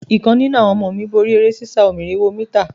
Ìkan nínú àwọn ọmọ mí borí eré sísá onírinwó mítà.